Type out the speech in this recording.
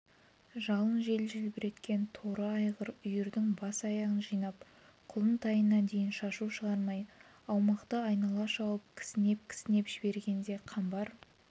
жалын жел желбіреткен торы айғыр үйірдің бас-аяғын жинап құлын-тайына дейін шашау шығармай аумақты айнала шауып кісінеп-кісінеп жібергенде қамбар